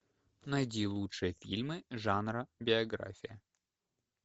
найди лучшие фильмы жанра биография